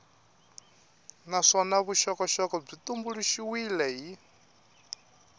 naswona vuxokoxoko byi tumbuluxiwile hi